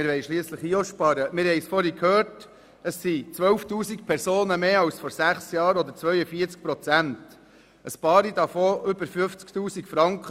Es sind 12 000 Personen oder 42 Prozent mehr als vor sechs Jahren, einige beziehen über 50 000 Franken.